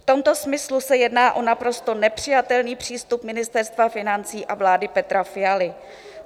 V tomto smyslu se jedná o naprosto nepřijatelný přístup Ministerstva financí a vlády Petra Fialy.